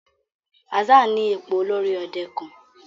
Hassan ní ipò olórí òde kán.